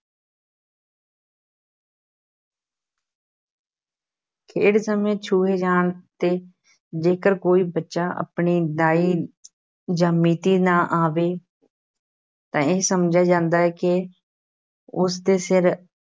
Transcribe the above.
ਖੇਡ ਸਮੇਂ ਛੂਹੇ ਜਾਣ ’ਤੇ ਜੇਕਰ ਕੋਈ ਬੱਚਾ ਆਪਣੀ ਦਾਈ ਜਾਂ ਮੀਤੀ ਨਾ ਆਵੇ ਤਾਂ ਇਹ ਸਮਝਿਆ ਜਾਂਦਾ ਹੈ ਕਿ ਉਸ ਦੇ ਸਿਰ